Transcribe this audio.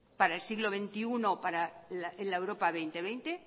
para el siglo veintiuno en la europa dos mil veinte